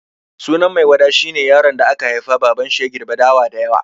Sunan Maiwada shi ne yaron da aka haifa babanshi ya girbe dawa da yawa.